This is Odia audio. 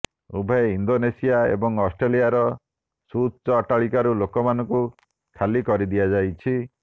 ଉଭୟ ଇଣ୍ଡୋନସିଆ ଏବଂ ଅଷ୍ଟ୍ରେଲିଆର ସୁଉଚ୍ଚ ଅଟ୍ଟାଳିକାରୁ ଲୋକମାନଙ୍କୁ ଖାଲି କରିଦିଆଯାଇଛି